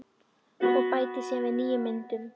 Og bætir síðar við nýjum myndum.